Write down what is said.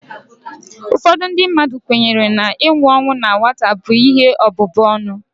Ụfọdụ ndị mmadụ kwenyere na inwu ọnwụ na nwata bụ ihe ọbụbụ ọnụ